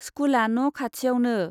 स्कुला न' खाथियावनो।